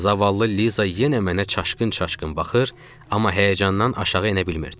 Zavallı Liza yenə mənə çaşqın-çaşqın baxır, amma həyəcandan aşağı enə bilmirdi.